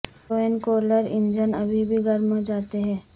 twin cooler engine ابھی بھی گرم ہو جاتے ہیں